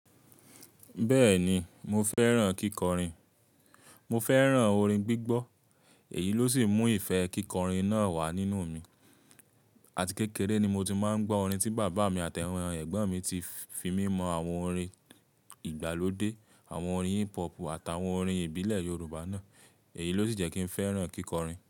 Bẹ́ẹ̀ni, mo fẹ́ràn kíkọrin. Mo fẹ́ràn orin gbígbọ́, èyí ló sì mú ìfẹ́ kíkọrin náà wà nínú mi. Àti kékeré ni mo ti máa ń gbọ́ orin tí bàbá mi àti àwọn ẹ̀gbọ́n mi ti fi mímọ àwọn orin ìgbàlódé, àwọn orin hip hop àtàwọn orin ìbílẹ̀ Yorùbá náà. Èyí ló sì jẹ́ kí n fẹ́ràn kíkọrin.